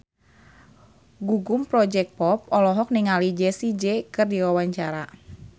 Gugum Project Pop olohok ningali Jessie J keur diwawancara